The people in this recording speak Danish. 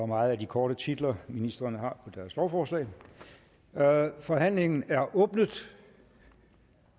meget af de korte titler ministrene har på deres lovforslag forhandlingen er åbnet